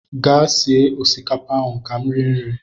Gaa sie osikapa ahụ ka m rie nri!